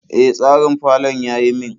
E, tsarin falon ya yi min.